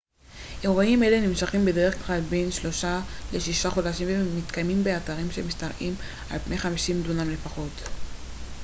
אירועים אלה נמשכים בדרך כלל בין שלושה לשישה חודשים והם מתקיימים באתרים שמשתרעים על פני 50 דונם לפחות